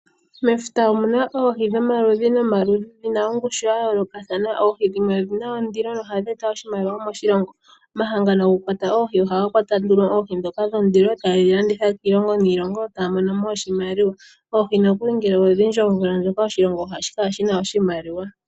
Mefuta omuna oohi dhomaludhi nomaludhi, dhina ongushu ya yoolokathana. Oohi dhimwe odhina ondilo na otadhi eta oshimaliwa moshilongo. Omahala ngono gokulwata oohi ohadhi kwata nduno oohi dhondilo taye dhi landitha kiilongo yi ili, taya mono mo oshimaliwa. Oohi nokuli nge odhindji omvula ndjoka oshilongo ohashi kala shina oshimaliwa.